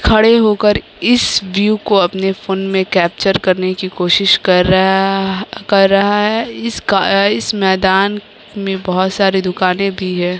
खड़े हो कर इस व्यू को अपने फोन में केप्चर करने की कोशिश कर रहा कर रहा है इस इस मैदान में बहुत सारे दुकानें भी है।